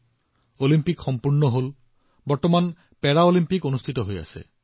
Olympic খেল শেষ হৈছে আৰু পেৰালিম্পিক এতিয়াও চলি আছে